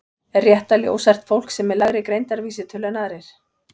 Er rétt að ljóshært fólk sé með lægri greindarvísitölu en aðrir?